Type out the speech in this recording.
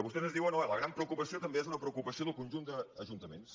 vostès ens diuen oh la gran preo·cupació també és una preocupació del conjunt d’ajun·taments